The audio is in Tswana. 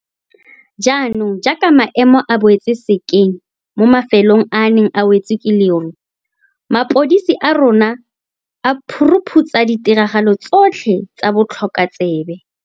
Jaanong jaaka maemo a boetse sekeng mo mafe long a a neng a wetswe ke leru, mapodisi a rona a phu ruphutsa ditiragalo tsotlhe tsa botlhokotsebe.